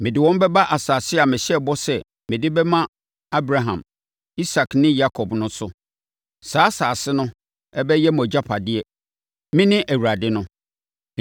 Mede wɔn bɛba asase a mehyɛɛ bɔ sɛ mede bɛma Abraham, Isak ne Yakob no so. Saa asase no bɛyɛ mo agyapadeɛ. Mene Awurade no.’ ”